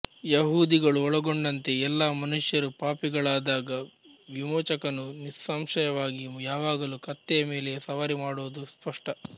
ಯಹೂದಿಗಳು ಒಳಗೊಂಡಂತೆ ಎಲ್ಲಾ ಮನುಷ್ಯರು ಪಾಪಿಗಳಾದಾಗ ವಿಮೋಚಕನು ನಿಸ್ಸಂಶಯವಾಗಿ ಯಾವಾಗಲು ಕತ್ತೆಯ ಮೇಲೆ ಸವಾರಿ ಮಾಡುವುದು ಸ್ಪಷ್ಟ